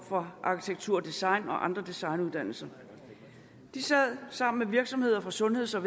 fra arktitektur design og fra andre designuddannelser de sad sammen virksomheder på sundheds og